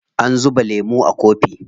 An zuba lemun a kofi.